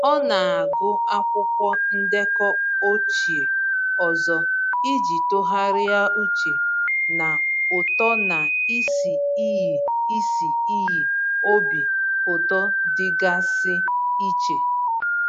Ọ na-agụ akwụkwọ ndekọ ochie ọzọ iji tụgharịa uche na uto na isi iyi isi iyi obi ụtọ dịgasị iche.